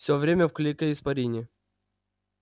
все время в клейкой испарине